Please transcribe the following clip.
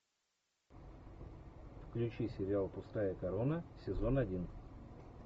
включи сериал пустая корона сезон один